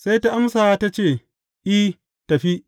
Sai ta amsa ta ce, I, tafi.